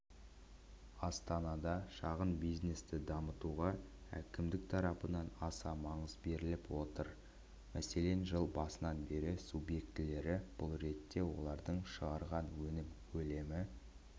астанада шағын бизнесті дамытуға әкімдік тарапынан аса маңыз беріліп отыр мәселен жыл басынан бері субъектілері бұл ретте олардың шығарған өнім көлемі